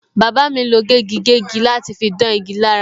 Bàbá mi lo gégigégi láti fi dán igi lára.